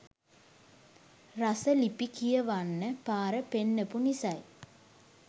රස ලිපි කියවන්න පාර පෙන්නපු නිසයි